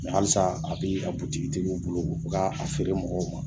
Halisa a bɛ a butigitigiw bolo, o bɛ k'a feere mɔgɔw ma.